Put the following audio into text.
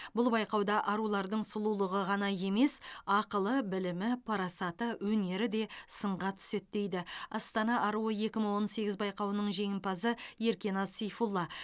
бұл байқауда арулардың сұлулығы ғана емес ақылы білімі парасаты өнері де сынға түседі дейді астана аруы екі мың он сегіз байқауының жеңімпазы еркеназ сейфулла